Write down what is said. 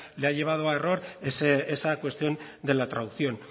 le ha llevado a error esa cuestión de la traducción